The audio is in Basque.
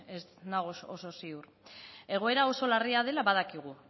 ez nago oso ziur egoera oso larria dela badakigu